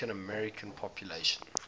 african american population